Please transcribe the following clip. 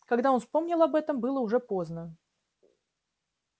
когда он вспомнил об этом было уже поздно